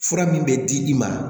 Fura min bɛ di i ma